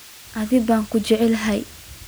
Aad baan kuu jecelahay.